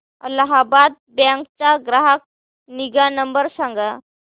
Allahabad bank चा ग्राहक निगा नंबर सांगा